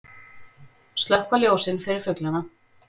Slökkva ljósin fyrir fuglana